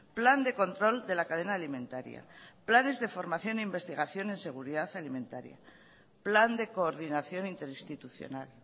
plan de control de la cadena alimentaria planes de formación e investigación en seguridad alimentaria plan de coordinación interinstitucional